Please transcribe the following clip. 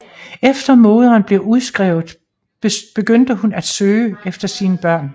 Efter moderen blev udskrevet begyndte hun at søge efter sine børn